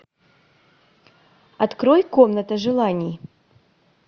открой комната желаний